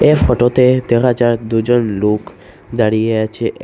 এই ফটোতে দেখা যায় দুজন লোক দাঁড়িয়ে আছে এক--